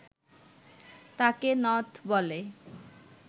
তাকে নথ বলে